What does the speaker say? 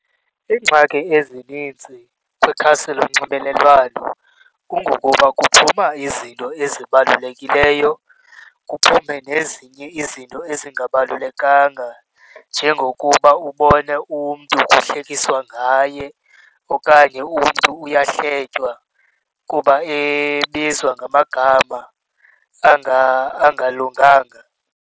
Iingxaki ezininzi kwikhasi lonxibelelwano kungokuba kuphuma izinto ezibalulekileyo, kuphume nezinye izinto ezingabalulekanga njengokuba ubone umntu kuhlekiswa ngaye okanye umntu uyawuhletywa kuba ebizwa ngamagama anga angalunganga.